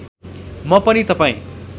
म पनि तपाईँ